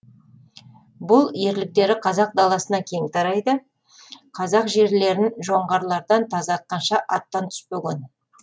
бұл ерліктері қазақ даласына кең тарайды қазақ жерлерін жоңғарлардан тазартқанша аттан түспеген